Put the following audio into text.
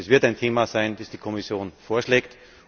Das wird ein Thema sein, das die Kommission vorschlägt.